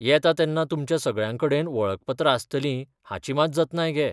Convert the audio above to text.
येता तेन्ना तुमच्या सगळ्यांकडेन वळखपत्रां आसतलीं हाची मात जतनाय घे.